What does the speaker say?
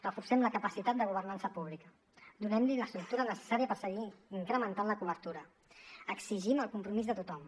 reforcem la capacitat de governança pública donem li l’estructura necessària per seguir incrementant la cobertura exigim el compromís de tothom